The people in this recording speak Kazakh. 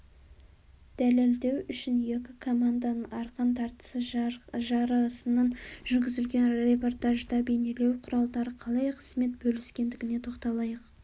дәлелдеу үшін екі команданың арқан тартысы жарысынан жүргізілген репортажда бейнелеу құралдары қалай қызмет бөліскендігіне тоқталайық